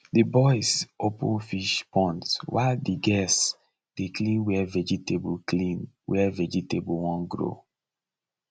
the boys open fish ponds while the girls dey clean where vegetable clean where vegetable won grow